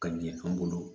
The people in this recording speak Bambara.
Ka ɲɛ an bolo